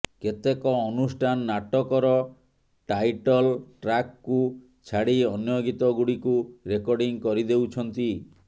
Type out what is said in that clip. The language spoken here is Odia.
କେତେକ ଅନୁଷ୍ଠାନ ନାଟକର ଟାଇଟଲ୍ ଟ୍ରାକ୍କୁ ଛାଡ଼ି ଅନ୍ୟ ଗୀତ ଗୁଡ଼ିକୁ ରେକର୍ଡ଼ିଂ କରିଦେଉଛନ୍ତି